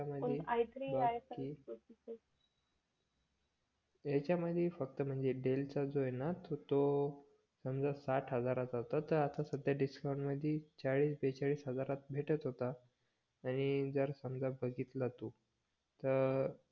याच्यामध्ये फक्त म्हणजे डेलचा जो आहे न तो साठ हजाराचा होता त आता सध्या डिस्काउंटमधी चाळीस बेचाळीस हजारात भेटत होता आणि जर बगितल तू त